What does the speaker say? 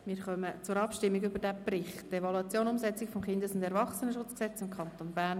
Wir kommen zur Abstimmung über diesen Bericht «Evaluation Umsetzung des Kindes- und Erwachsenenschutzgesetzes im Kanton Bern